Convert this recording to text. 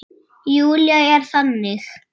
Júlía er þannig.